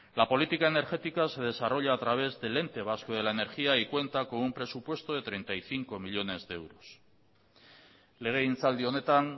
la política energética se desarrolla a través del ente vasco de la energía y cuenta con un presupuesto de treinta y cinco millónes de euros legegintzaldi honetan